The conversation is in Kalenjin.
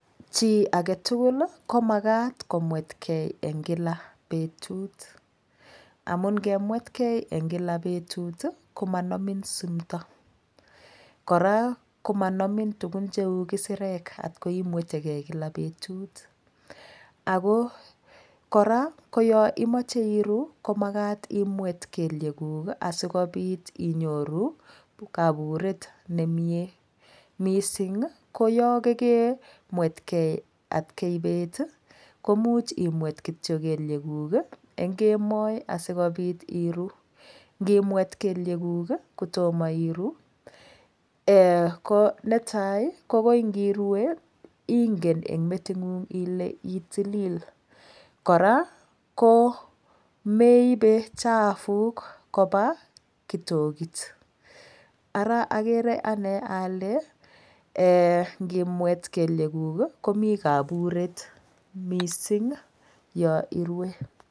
Chi agetugul komakat komwetgei eng' kila betut amun ngemwetgei eng Kila betut komanomi sumto kora komanomi tugun cheu kisirek atkoi imwetegei kila betut ako kora ko yo imoche iru komakat imwet kelyekuk asikobit inyoru kaburet nemie mising ko yo kekemwetkei atkei bet komuch imwet kitcho kelyekuk eng' kemoi asikobit iru ngimwet kelyeguk kotomo iru ko netai ko koi ngirue ingen eng' meting'ung ile itilil kora komeibe chapuk koba kitokit ara akere ane ale ngimwet kelyeguk komi kaburet mising yo irue